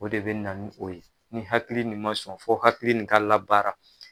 O de bina n'o ye ni hakili nin ma sɔn fo hakili nin ka labaara